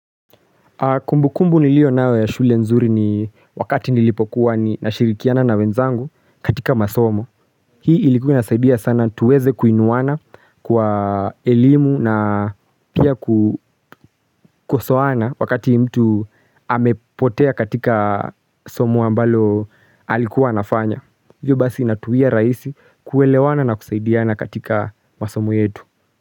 Kumbu kumbu niliyo nayo ya shule nzuri ni wakati nilipokuwa ni nashirikiana na wenzangu katika masomo. Hii ilikuwa inasaidia sana tuweze kuinuana kwa elimu na pia kukosoana wakati mtu amepotea katika somo ambalo alikuwa nafanya. Hivyo basi natuia raisi kuelewana na kusaidiana katika masomo yetu.